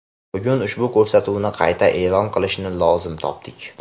bugun ushbu ko‘rsatuvni qayta e’lon qilishni lozim topdik.